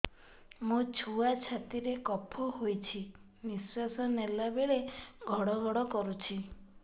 ମୋ ଛୁଆ ଛାତି ରେ କଫ ହୋଇଛି ନିଶ୍ୱାସ ନେଲା ବେଳେ ଘଡ ଘଡ କରୁଛି